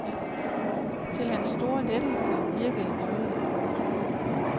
Til hans store lettelse virkede nøglen.